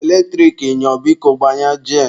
Eletrik nyụọ, biko gbanye jen.